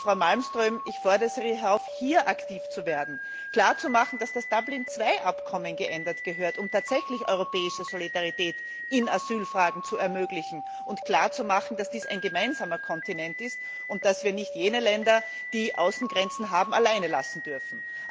Und, Frau Malmström, ich fordere Sie auf, hier aktiv zu werden, klar zu machen, dass das Dublin II Abkommen geändert werden muss, um tatsächlich europäische Solidarität in Asylfragen zu ermöglichen, und klar zu machen, dass dies ein gemeinsamer Kontinent ist und dass wir nicht jene Länder, die Außengrenzen haben, allein lassen dürfen.